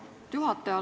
Lugupeetud juhataja!